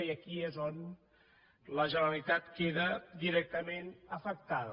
i aquí és on la generalitat queda directament afectada